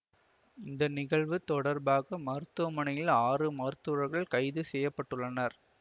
இந்த நிகழ்வு தொடர்பாக மருத்துவமனையின் ஆறு மருத்துவர்கள் கைது செய்ய பட்டுள்ளனர்